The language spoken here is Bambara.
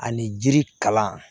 Ani jiri kalan